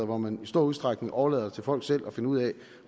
hvor man i stor udstrækning overlader det til folk selv at finde ud af